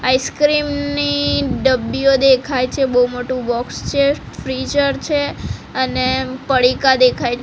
ice cream ની ડબ્બીઓ દેખાય છે બો મોટું બોક્સ છે ફ્રીઝર છે અને પડીકા દેખાય--